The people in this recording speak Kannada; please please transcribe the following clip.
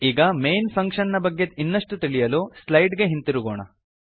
ಈಗ ಮೈನ್ ಫಂಕ್ಷನ್ ನ ಬಗ್ಗೆ ಇನ್ನಷ್ಟು ತಿಳಿಯಲು ಸ್ಲೈಡ್ ಗೆ ಹಿಂತಿರುಗೋಣ